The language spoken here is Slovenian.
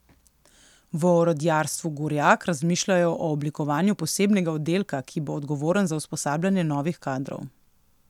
V Orodjarstvu Gorjak razmišljajo o oblikovanju posebnega oddelka, ki bo odgovoren za usposabljanje novih kadrov.